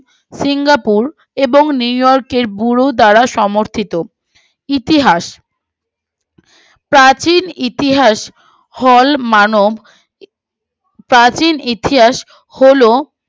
এবং new york এবং এর ব্যুরো দ্বারা সমর্থিত ইতিহাস প্রাচীন ইতিহাস মানব প্রাচীন ইতিহাস হলো